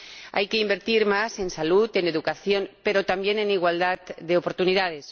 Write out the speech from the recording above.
Hay que invertir más en salud, en educación, pero también en igualdad de oportunidades.